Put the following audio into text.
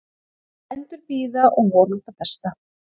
Bændur bíða og vona það besta